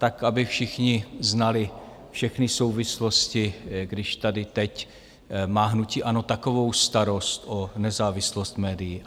Tak aby všichni znali všechny souvislosti, když tady teď má hnutí ANO takovou starost o nezávislost médií.